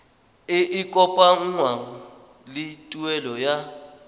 e kopanngwang le tuelo ya